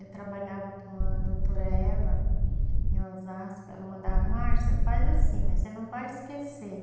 Eu trabalhava com a doutora Eva em Osasco, ela mandava, Marcia, faz assim, mas você não vai esquecer.